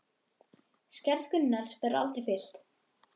Skarð Gunnars verður aldrei fyllt.